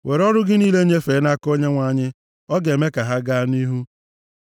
Were ọrụ gị niile nyefee nʼaka Onyenwe anyị, ọ ga-eme ka ha gaa nʼihu.